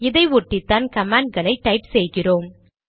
இதை ஒட்டிதான் கமாண்ட்களை டைப் செய்கிறோம்